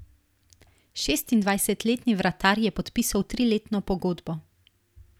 Šestindvajsetletni vratar je podpisal triletno pogodbo.